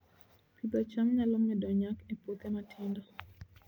Pidho cham nyalo medo nyak e puothe matindo